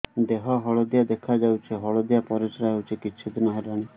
ଦେହ ହଳଦିଆ ଦେଖାଯାଉଛି ହଳଦିଆ ପରିଶ୍ରା ହେଉଛି କିଛିଦିନ ହେଲାଣି